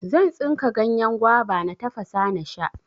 Zan tsinka ganyen gwaba, na tafasa nasha.